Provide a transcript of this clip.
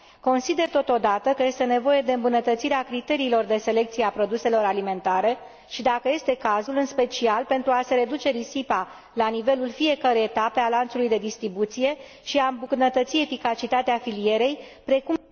Consider, totodată, că este nevoie de îmbunătățirea criteriilor de selecție a produselor alimentare și, dacă este cazul, în special pentru a se reduce risipa la nivelul fiecărei etape a lanțului de distribuție și a îmbunătăți eficacitatea filierei, precum